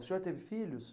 O senhor teve filhos?